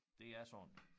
Det er sådan